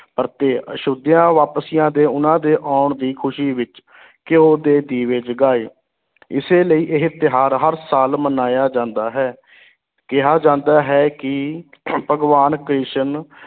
ਪਰਤੇ ਅਯੋਧਿਆ ਵਾਪਸੀਆਂ ਦੇ ਉਨ੍ਹਾਂ ਦੇ ਆਉਣ ਦੀ ਖੁਸ਼ੀ ਵਿੱਚ ਘਿਓ ਦੇ ਦੀਵੇ ਜਗਾਏ, ਇਸੇ ਲਈ ਇਹ ਤਿਉਹਾਰ ਹਰ ਸਾਲ ਮਨਾਇਆ ਜਾਂਦਾ ਹੈ ਕਿਹਾ ਜਾਂਦਾ ਹੈ ਕਿ ਭਗਵਾਨ ਕ੍ਰਿਸ਼ਨ